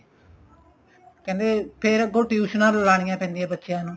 ਕਹਿੰਦੇ ਫੇਰ ਅੱਗੋ ਟਿਊਸ਼ਨਾ ਲਾਣੀਆਂ ਪੈਂਦੀਆਂ ਬੱਚਿਆਂ ਨੂੰ